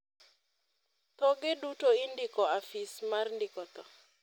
thoge duto indiko afis mar ndiko tho